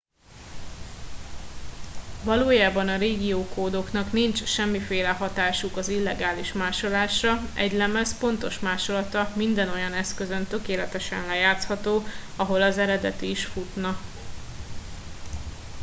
valójában a régiókódoknak nincs semmiféle hatásuk az illegális másolásra egy lemez pontos másolata minden olyan eszközön tökéletesen lejátszható ahol az eredeti is futna